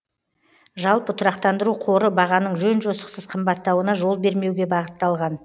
жалпы тұрақтандыру қоры бағаның жөн жосықсыз қымбаттауына жол бермеуге бағытталған